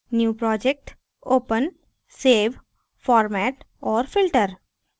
new project open save format और filter